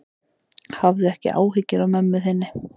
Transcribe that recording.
Hafðu ekki áhyggjur af mömmu þinni.